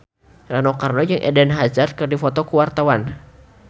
Rano Karno jeung Eden Hazard keur dipoto ku wartawan